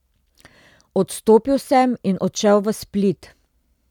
Odstopil sem in odšel v Split.